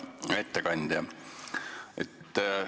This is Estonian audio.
Hea ettekandja!